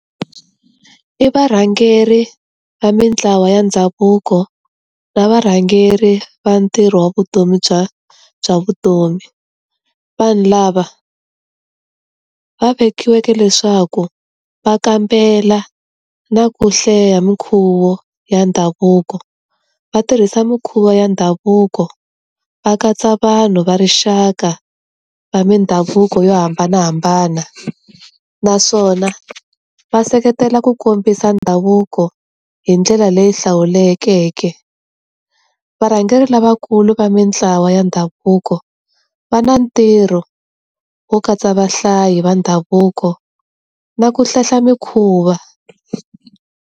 I varhangeri va mintlawa ya ndhavuko na varhangeri va ntirho wa vutomi bya bya vutomi. Vanhu lava va vekiweke leswaku va kambela na ku hlaya minkhuvo ya ndhavuko, va tirhisa mikhuva ya ndhavuko, va katsa vanhu va rixaka va mindhavuko yo hambanahambana naswona va seketela ku kombisa ndhavuko hi ndlela leyi hlawulekeke. Varhangeri lavakulu va mintlawa ya ndhavuko va na ntirho wo katsa vahlayi va ndhavuko na ku hlehla mikhuva.